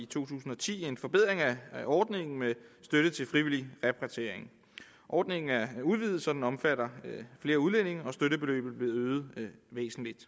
tusind og ti en forbedring af ordningen med støtte til frivillig repatriering ordningen er udvidet så den omfatter flere udlændinge og støttebeløbet er blevet øget væsentligt